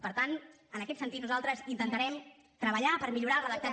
per tant en aquest sentit nosaltres intentarem treballar per millorar el redactat